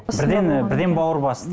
бірден і бірден бауыр басты